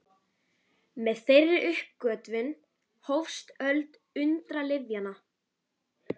Með þeirri uppgötvun hófst öld undralyfjanna.